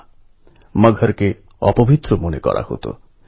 সব আঁধারকে নিয়ে আসতে হবে আলোয়